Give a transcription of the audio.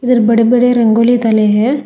बड़े बड़े रंगोली डले है।